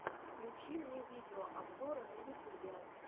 включи мне видеообзоры на ютубе